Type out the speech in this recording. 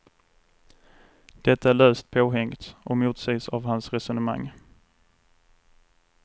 Detta är löst påhängt och motsägs av hans resonemang.